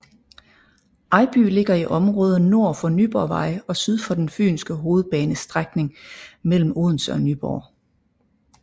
Ejby ligger i området nord for Nyborgvej og syd for den fynske hovedbanes strækning mellem Odense og Nyborg